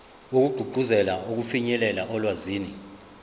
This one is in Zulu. wokugqugquzela ukufinyelela olwazini